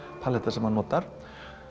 sem hann notar